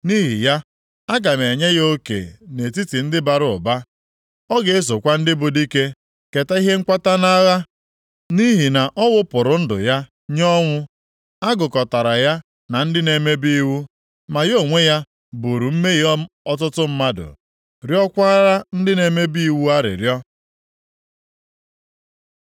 Nʼihi ya, aga m enye ya oke nʼetiti ndị bara ụba, + 53:12 Maọbụ, ndị dị ike ọ ga-esokwa ndị bụ dike keta ihe nkwata nʼagha, nʼihi na ọ wụpụrụ ndụ ya nye ọnwụ, a gụkọtara ya na ndị na-emebi iwu. Ma ya onwe ya buuru mmehie ọtụtụ mmadụ, rịọọkwara ndị na-emebi iwu arịrịọ.